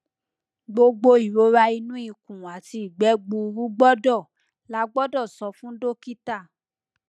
gbogbo irora ninu ikun ati igbe gburu gbọdọ lagbodo so fun dokita